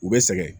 U bɛ sɛgɛn